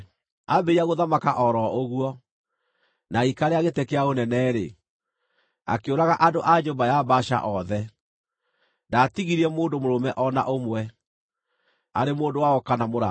Aambĩrĩria gũthamaka o ro ũguo, na agĩikarĩra gĩtĩ kĩa ũnene-rĩ, akĩũraga andũ a nyũmba ya Baasha othe. Ndaatigirie mũndũ mũrũme o na ũmwe, arĩ mũndũ wao kana mũrata.